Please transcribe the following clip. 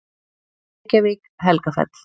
Reykjavík: Helgafell.